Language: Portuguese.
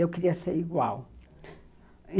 Eu queria ser igual.